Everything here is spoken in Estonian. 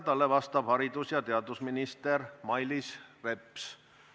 Talle vastab haridus- ja teadusminister Mailis Reps.